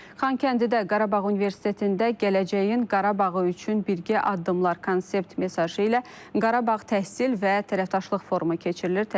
Xankəndidə Qarabağ Universitetində gələcəyin Qarabağı üçün birgə addımlar konsept mesajı ilə Qarabağ təhsil və tərəfdaşlıq forumu keçirilir.